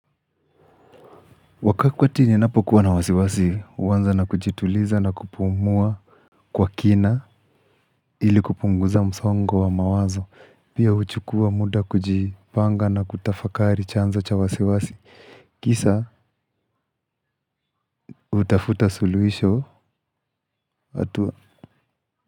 Wakati ninapokuwa na wasiwasi, huanza na kujituliza na kupumua kwa kina ili kupunguza msongo wa mawazo. Pia huchukua muda kujipanga na kutafakari chanzo cha wasiwasi. Kisha hutafuta suluhisho hatua.